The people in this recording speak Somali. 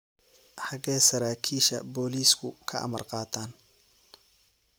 Xaggee saraakiisha booliisku ka amar qaataan?